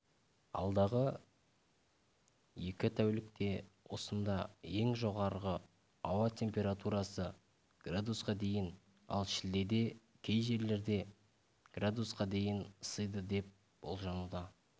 алдағы екі тәулікте осында ең жоғарғы ауа температурасы градусқа дейін ал шілдеде кей жерлерде градусқа дейін ысиды деп болжануда